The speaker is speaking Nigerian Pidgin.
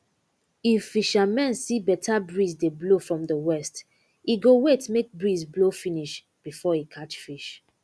if fishermen see better breeze dey blow from the west e go wait make breeze blow finish before e catch fish